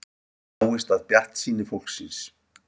Dáist að bjartsýni fólksins